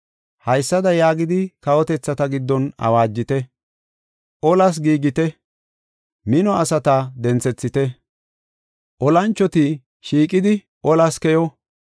“Haysada yaagidi kawotethata giddon awaajite; Olas giigite; mino asata denthethite, olanchoti shiiqidi olas keyo.